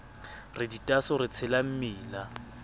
re ditaaso di tshela mmila